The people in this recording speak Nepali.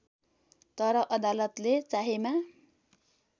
तर अदालतले चाहेमा